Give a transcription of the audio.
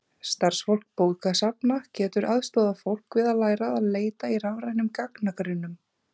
Starfsfólk bókasafna getur aðstoðað fólk við að læra að leita í rafrænum gagnagrunnum.